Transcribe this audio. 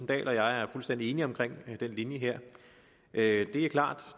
dahl og jeg er fuldstændig enige om den linje her det er klart at